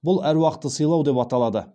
бұл әруақты сыйлау деп аталады